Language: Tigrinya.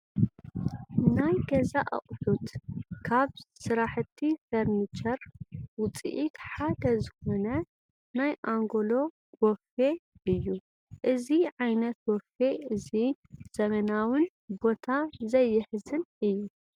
ናይ ገዛ ኣቑሑት፡- ካብ ስራሕቲ ፈርኒቸር ውፅኢት ሓደ ዝኾነ ናይ ኣንጎሎ ቦፊ እዩ፡፡ እዚ ዓይነት ቦፌ እዚ ዘበናውን ቦታ ዘይሕዝን እዩ፡፡